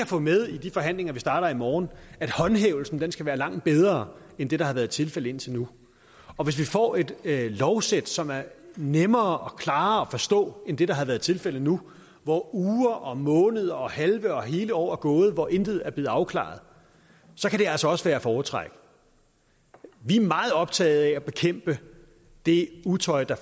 få med i de forhandlinger vi starter i morgen at håndhævelsen skal være langt bedre end det der har været tilfældet indtil nu og hvis vi får et lovsæt som er nemmere og klarere at forstå end det der har været tilfældet nu hvor uger og måneder og halve og hele år er gået og hvor intet er blevet afklaret så kan det altså også være at foretrække vi er meget optaget af at bekæmpe det utøj der